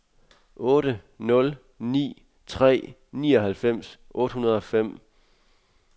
otte nul ni tre nioghalvfems otte hundrede og fem